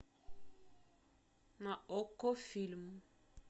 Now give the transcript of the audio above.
на окко фильм